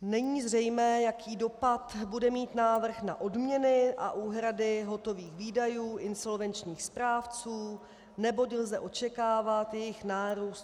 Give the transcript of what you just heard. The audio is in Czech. Není zřejmé, jaký dopad bude mít návrh na odměny a úhrady hotových výdajů insolvenčních správců, neboť lze očekávat jejich nárůst.